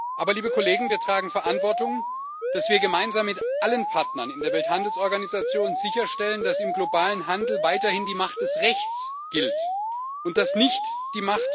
Aber, liebe Kollegen, wir tragen Verantwortung, dass wir gemeinsam mit allen Partnern in der Welthandelsorganisation sicherstellen, dass im globalen Handel weiterhin die Macht des Rechts und nicht die Macht des Stärkeren gilt.